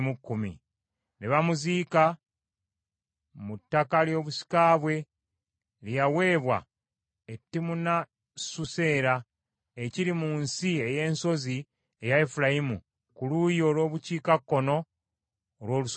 Ne bamuziika mu ttaka ly’obusika bwe lye yaweebwa e Timunasusera, ekiri mu nsi ey’ensozi eya Efulayimu ku luuyi olw’obukiikakkono olw’olusozi Gaasi.